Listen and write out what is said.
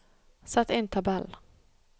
Sett inn tabell